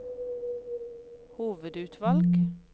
hovedutvalg